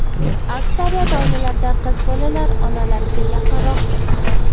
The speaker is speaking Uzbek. Aksariyat oilalarda qiz bolalar onalarga yaqinroq bo‘ladi.